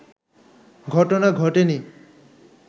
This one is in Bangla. ঘটনা ঘটেনি